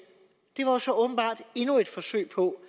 var så åbenbart endnu et forsøg på